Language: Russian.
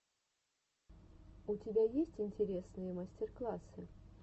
у тебя есть интересные мастер классы